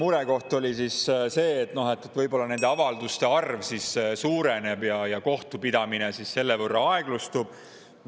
Murekoht oli siis see, et võib-olla avalduste arv suureneb ja kohtupidamine selle võrra aeglustub.